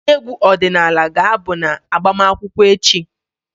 Ndị egwu ọdịnala ga-abụ na agbamakwụkwọ echi.